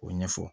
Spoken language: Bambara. O ɲɛfɔ